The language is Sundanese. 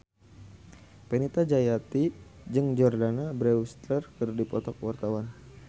Fenita Jayanti jeung Jordana Brewster keur dipoto ku wartawan